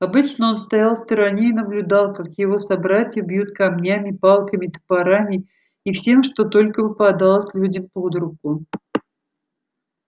обычно он стоял в стороне и наблюдал как его собратьев бьют камнями палками топорами и всем что только попадалось людям под руку